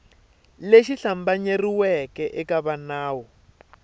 lexi hlambanyeriweke eka va nawu